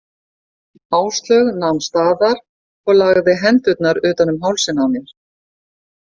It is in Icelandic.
Áslaug nam staðar og lagði hendurnar utan um hálsinn á mér.